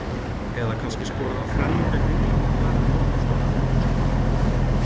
Eða kannski skorar hann þrennu gegn Englandi og borðar svo einhvern bókstaflega?